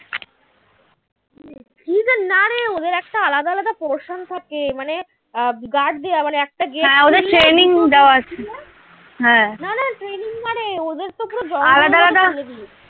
কটা portion থাকে মানে আহ gaurd দেয়া মানে হ্যাঁ না না training মানে ওদের তো পুরো